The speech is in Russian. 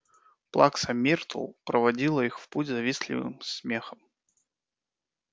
плакса миртл проводила их в путь завистливым смехом